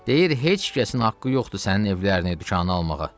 Deyir heç kəsin haqqı yoxdur sənin evlərini, dükanı almağa.